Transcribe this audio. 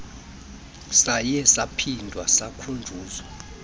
saye saphinda sakhunjuzwa